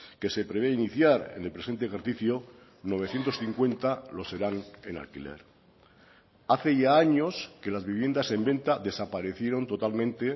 que se prevé iniciar en el presente ejercicio novecientos cincuenta lo serán en alquiler hace ya años que las viviendas en venta desaparecieron totalmente